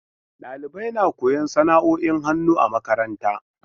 Dalibai na koyon sana'oin hannu a makaranta.